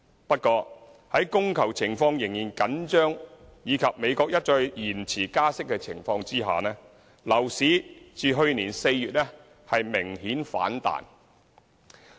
不過，在供求情況仍然緊張及美國一再延遲加息的情況下，樓市自去年4月明顯反彈。